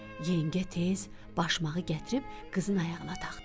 Yengə tez başmağı gətirib qızın ayağına taxdı.